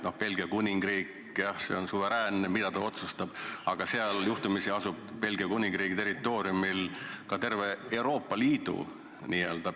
Jah, Belgia Kuningriik on oma otsustes suveräänne, aga seal, Belgia Kuningriigi territooriumil asub juhtumisi ka terve Euroopa Liidu pea.